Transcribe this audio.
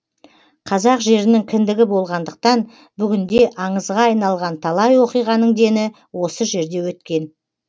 қазақ жерінің кіндігі болғандықтан бүгінде аңызға айналған талай оқиғаның дені осы жерде өткен